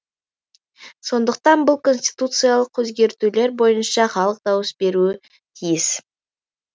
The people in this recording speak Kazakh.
сондықтан бұл конституциялық өзгертулер бойынша халық дауыс беруі тиіс